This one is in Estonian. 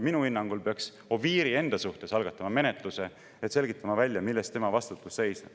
Minu hinnangul peaks Oviiri enda suhtes algatama menetluse, et selgitada välja, milles tema vastutus seisneb.